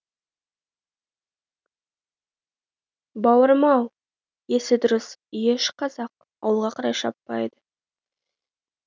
бауырым ау есі дұрыс еш қазақ ауылға қарай шаппайды